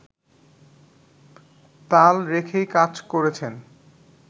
তাল রেখেই কাজ করেছেন